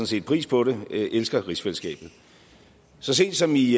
set pris på det jeg elsker rigsfællesskabet så sent som i